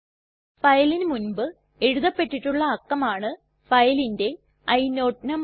ഫയലിന് മുൻപ് എഴുതപ്പെട്ടിട്ടുള്ള അക്കം ആണ് ഫയലിന്റെ ഇനോട് നംബർ